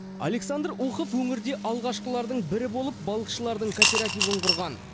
александр ухов өңірде алғашқылардың бірі болып балықшылардың кооперативін құрған